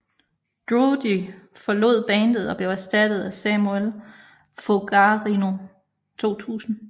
Drudy forlod bandet og blev erstattet af Samuel Fogarino 2000